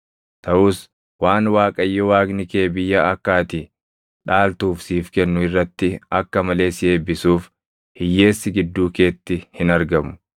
Taʼus waan Waaqayyo Waaqni kee biyya akka ati dhaaltuuf siif kennu irratti akka malee si eebbisuuf hiyyeessi gidduu keetti hin argamu;